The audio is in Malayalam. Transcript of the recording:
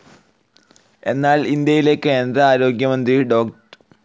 എന്നാൽ ഇന്ത്യയിലെ കേന്ദ്ര ആരോഗ്യമന്ത്രി ഡോ.